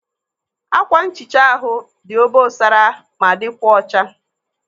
Ákwànhicha ahụ dị obosara ma dịkwa ọcha.